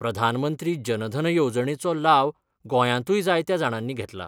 प्रधानमंत्री जनधन येवजणेचो लाव गोंयातूय जायत्या जाणांनी घेतला.